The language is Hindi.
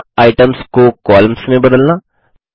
सूचना आइटम्स को कॉलम्स में बदलना 5